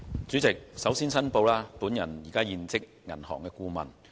主席，首先我要作出申報，我現職銀行顧問。